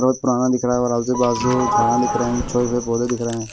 बहुत पुराना दिख रहा है और आजू बाजू झाड़ा दिख रहे हैं छोटे छोटे पौधे दिख रहे हैं।